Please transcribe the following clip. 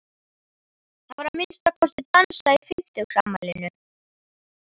Það var að minnsta kosti dansað í fimmtugsafmælinu.